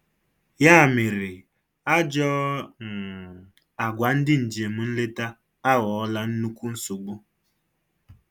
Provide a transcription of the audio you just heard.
Ya mere, Ajọọ um agwa ndị njem nleta aghọọla nnukwu nsogbu.